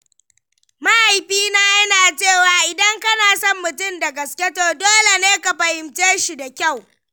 Mahaifina yana cewa "idan kana son mutum da gaske, to dole ne ka fahimce shi da kyau."